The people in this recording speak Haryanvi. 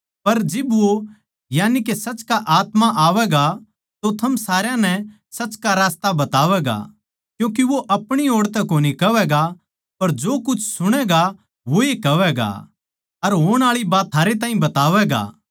पर जिब वो यानिके सच का आत्मा आवैगा तो थम सारया नै सच का रास्ता बतावैगा क्यूँके वो अपणी ओड़ तै कोनी कहवैगा पर जो कुछ सुणैगा वोए कहवैगा अर होण आळी बात थारै ताहीं बतावैगा